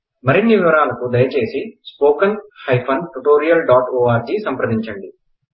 మరిన్నివివరాలుకు దయచేసి spoken hyphen tutorial dot O R G సంప్రదించండి